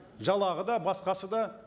жалақы да басқасы да